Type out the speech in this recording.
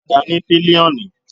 Okada ní pilioni.